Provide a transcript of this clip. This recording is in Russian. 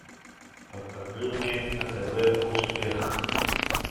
покажи мне на тв успех